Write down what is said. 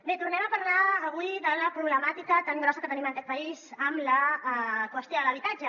bé tornem a parlar avui de la proble·màtica tan grossa que tenim en aquest país amb la qüestió de l’habitatge